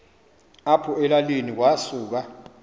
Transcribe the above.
apho elalini kwasuka